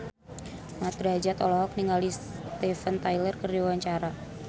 Mat Drajat olohok ningali Steven Tyler keur diwawancara